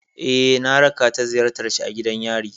Eh, na raka ta ziyartar shi a gidan yari.